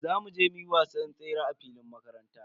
Za mu je muyi wasan tsere a filin makaranta.